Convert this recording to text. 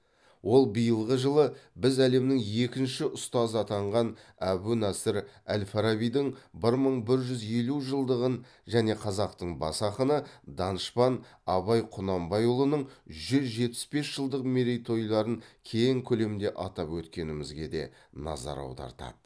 ол биылғы жылы біз әлемнің екінші ұстазы атанған әбу насыр әл фарабидың бір мың бір жүз елу жылдығын және қазақтың бас ақыны данышпан абай құнанбайұлының жүз жетпіс бес жылдық мерейтойларын кең көлемде атап өткенімізге де назар аудартады